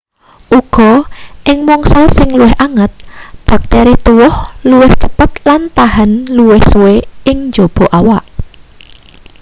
uga ing mangsa sing luwih anget bakteri tuwuh luwih cepet lan tahan luwih suwe ing njaba awak